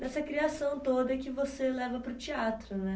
Dessa criação toda que você leva para o teatro, né?